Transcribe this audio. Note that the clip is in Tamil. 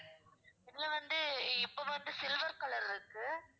இதுல வந்து இப்ப வந்து silver color இருக்கு